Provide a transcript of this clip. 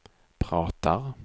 pratar